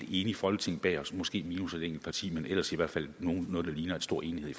enigt folketing bag os i måske minus et enkelt parti men ellers i hvert fald noget der ligner en stor enighed